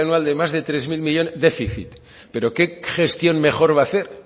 anual de más de tres mil millónes déficit pero qué gestión mejor va a hacer